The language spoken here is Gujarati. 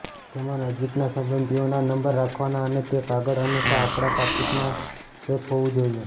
તેમાં નજીકના સંબંધીઓના નંબર રાખવાના અને તે કાગળ હંમેશા આપણા પાકીટમાં સેફ હોવું જોઈએ